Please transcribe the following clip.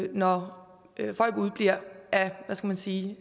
når folk udebliver af hvad skal man sige